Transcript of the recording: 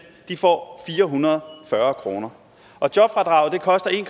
får fire hundrede og fyrre kroner og jobfradraget koster en